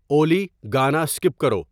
اولی گانا اسکپ کرو